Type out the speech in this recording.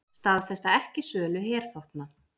Staðfesta ekki sölu herþotna